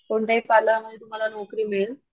कोणत्याही पार्लर मध्ये तुम्हाला नोकरी मिळेल.